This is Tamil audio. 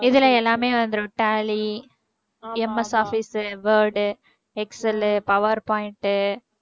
இதுல எல்லாமே வந்துரும் tally MS office உ word உ excel உ power point உ